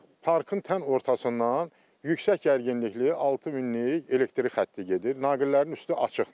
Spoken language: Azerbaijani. Ancaq parkın tən ortasından yüksək gərginlikli 6000lik elektrik xətti gedir, naqillərin üstü açıqdır.